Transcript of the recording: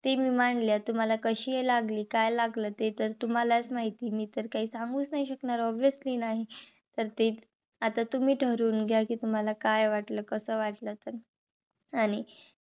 ते मी मांडल्या. तुम्हाला कशी हे लागली? काय लागलं? ते तर तुम्हालाच माहिती. मी तर काही सांगूच नाही शकणार. obviously नाही. तर ते आता तुम्ही ठरवून घ्या. कि तुम्हाला काय वाटल? कस वाटल? ते